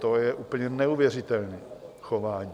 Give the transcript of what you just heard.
To je úplně neuvěřitelné chování.